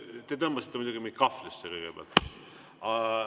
Te tõmbasite mind kõigepealt muidugi kahvlisse.